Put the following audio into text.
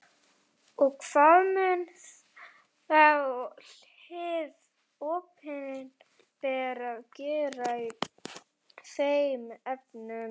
Og hvað mun þá hið opinbera gera í þeim efnum?